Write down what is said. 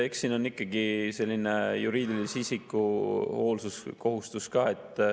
Eks siin on ikkagi selline juriidilise isiku hoolsuskohustus ka.